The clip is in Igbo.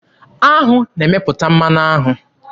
Aṅụ na-emepụta mmanụ aṅụ.